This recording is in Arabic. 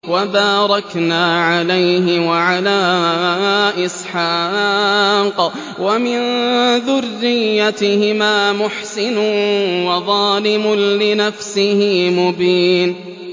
وَبَارَكْنَا عَلَيْهِ وَعَلَىٰ إِسْحَاقَ ۚ وَمِن ذُرِّيَّتِهِمَا مُحْسِنٌ وَظَالِمٌ لِّنَفْسِهِ مُبِينٌ